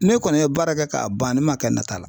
Ne kɔni ye baara kɛ k'a ban ne ma kɛ nata la